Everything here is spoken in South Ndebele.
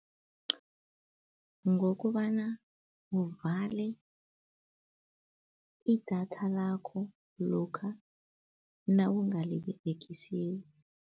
Ngokobana uvale idatha lakho, lokha nawungaliberegisiko.